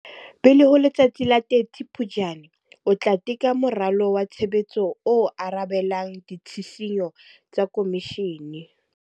Pele ho letsatsi la 30 Phuptjane, o tla teka moralo wa tshebetso o arabelang ditshisinyo tsa Khomishene.